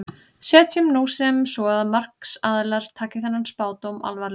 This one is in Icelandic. Setjum nú sem svo að markaðsaðilar taki þennan spádóm alvarlega.